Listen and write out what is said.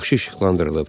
Yaxşı işıqlandırılıb.